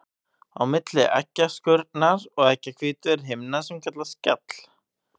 Á milli eggjaskurnar og eggjahvítu er himna sem kallast skjall.